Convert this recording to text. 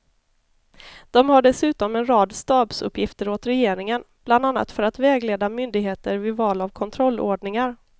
De har dessutom en rad stabsuppgifter åt regeringen bland annat för att vägleda myndigheter vid val av kontrollordningar.